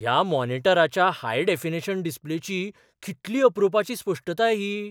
ह्या मॉनिटराच्या high definition डिस्प्लेची कितली अप्रुपाची स्पश्टताय ही!